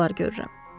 Belə yuxular görürəm.